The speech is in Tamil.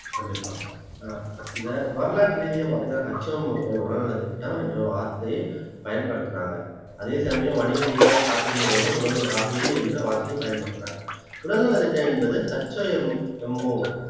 கண்டிப்பா ஆஹ் இந்த வரலாற்று ரீதியா பார்த்தீங்கன்னா அவர்கள் உடல் நலத்திட்டம் என்ற வார்த்தையை பயன்படுத்தினாங்க அதே சமயம் வணிக ரீதியாக காப்பீட்டு நிறுவனங்கள் உடல்நல காப்பீடு என்ற வார்த்தையும் பயன்படுத்துறாங்க உடல் நல திட்டம் என்பது